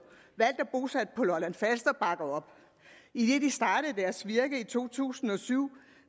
valgt og bosat på lolland falster bakker op idet de startede deres virke i to tusind og syv